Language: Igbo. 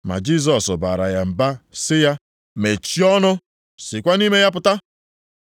Ma Jisọs baara ya mba sị ya, “Mechie ọnụ sikwa nʼime ya pụta!”